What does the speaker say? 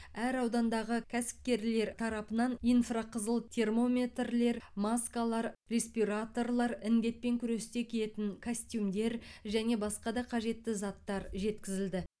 әр аудандағы кәсіпкерлер тарапынан инфрақызыл термометрлер маскалар респираторлар індетпен күресте киетін костюмдер және басқа да қажетті заттар жеткізілді